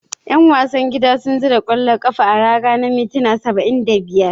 Yan wasan gida sun zura kwallo a raga a minti na 75.